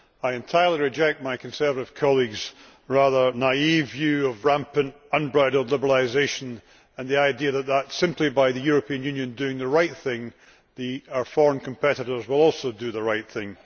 I entirely reject my Conservative colleague's rather naive view of rampant unbridled liberalisation and the idea that, simply by virtue of the European Union doing the right thing, our foreign competitors will also do the right thing.